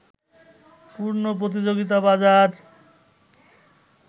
পূর্ণ প্রতিযোগিতা বাজার